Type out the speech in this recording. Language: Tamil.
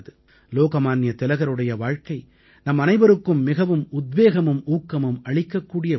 லோகமான்ய திலகருடைய வாழ்க்கை நம்மனைவருக்கும் மிகவும் உத்வேகமும் ஊக்கமும் அளிக்கக்கூடிய ஒன்று